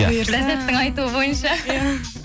бұйырса ләззаттың айтуы бойынша иә